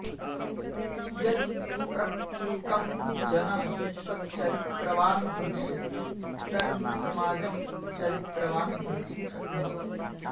यदि प्रत्येकः जनः सच्चरित्रं भविष्यति तर्हि समाजं चरित्रवान् भवितु शक्नोति